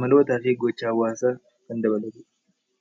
amalootaa fi giha hawwaasaa kan dabaludha.